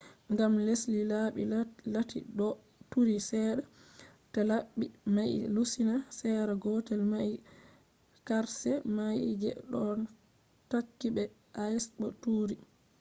gam les laɓi lati ɗo turi seɗɗa ta laɓi mai lusina sera gotel mai qarshe mai je ɗo takki be ice bo turi